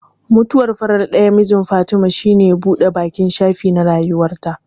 Mutuwar farar ɗayan mijin Fatima shine ya buɗe baƙin shafi na rayuwarta.